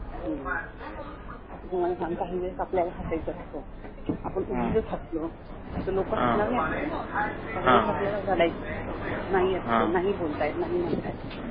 आता तू मला सांग काही वेळेस आपल्याला हसायच असतं आपण उगिचच हसलो तर लोकं हसणार नाहित आपल्याला काही वेळेस रडायचं असतं नाही असं नाही म्हणता येत